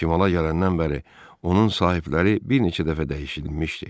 Şimala gələndən bəri onun sahibləri bir neçə dəfə dəyişilmişdi.